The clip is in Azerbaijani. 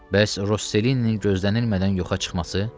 Bəs Rosselinin gözlənilmədən yoxa çıxması?